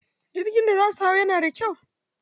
Jirgi da za su hau yana da kyau.